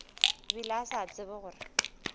bile a sa tsebe gore